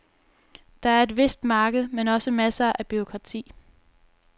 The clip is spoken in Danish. Der er et vist marked, men også masser af bureaukrati.